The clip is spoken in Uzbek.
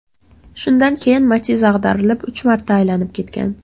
Shundan keyin Matiz ag‘darilib, uch marta aylanib ketgan.